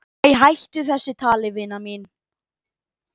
"""Æ, hættu þessu tali, vina mín."""